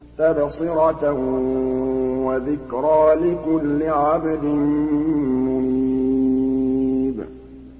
تَبْصِرَةً وَذِكْرَىٰ لِكُلِّ عَبْدٍ مُّنِيبٍ